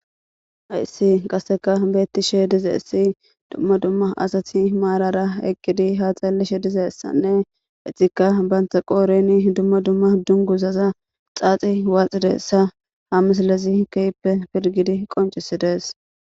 ayssi qasseka beettishe dizeessi dumma dumma asati maalara eqqidi haaxallishe dizeessanne exikka baantha qooreni dumma dumma dunguzaza xaaxi waaxideessa hamislezi keyppe pirgidi qoncisides